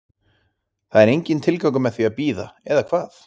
Það er enginn tilgangur með því að bíða, eða hvað?